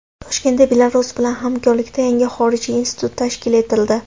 Toshkentda Belarus bilan hamkorlikda yangi xorijiy institut tashkil etildi.